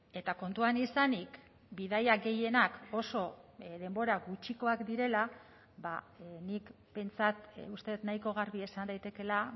eta kontuan izanik bidaia gehienak oso denbora gutxikoak direla nik behintzat uste dut nahiko garbi esan daitekeela